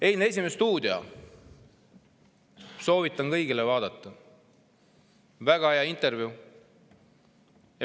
Eilset "Esimest stuudiot" soovitan kõigil vaadata – väga hea intervjuu.